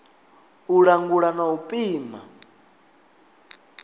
u langula na u pima